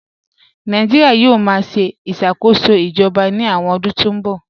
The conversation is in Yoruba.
Nàìjíríà yóò máa ṣe ìṣàkóso ìjọba ní àwọn ọdún tí ń bọ̀